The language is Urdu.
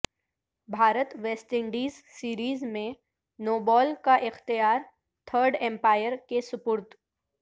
بھارت ویسٹ انڈیز سیریز میں نو بال کا اختیار تھرڈ امپائر کے سپرد